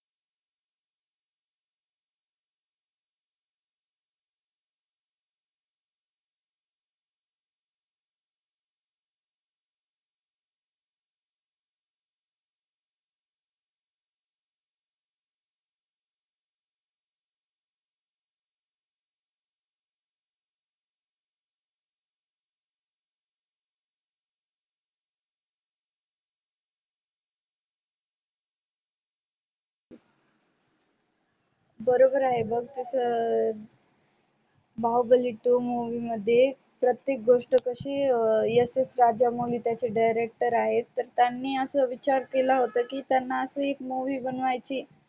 बरोबर आहे ग कस बाहुबली two movie मध्ये प्रतेक गोष्ट कशी स स राजामौली त्याचे director आहे त्यांनी अस विचार केला होता की त्यांना अशी एक movie बनव्याची